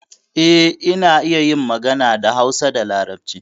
Eh, ina iya yin magana da Hausa da Larabci.